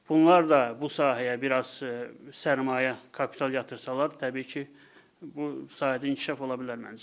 Bunlar da bu sahəyə biraz sərmayə, kapital yatırsalar, təbii ki, bu sahədə inkişaf ola bilər məncə.